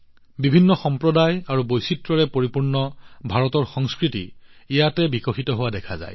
বিভিন্ন সম্প্ৰদায় আৰু বৈচিত্ৰ্যৰে পৰিপূৰ্ণ ভাৰতৰ সংস্কৃতি ইয়াত বিকশিত হোৱা দেখা যায়